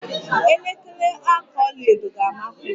Elekere aka ọlaedo ga-amasi m